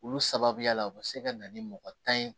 Olu sababuya la u bɛ se ka na ni mɔgɔ tan ye